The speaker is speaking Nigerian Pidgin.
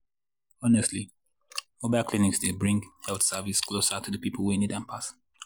honestly mobile clinics dey bring health service closer to the people wey really need am pass.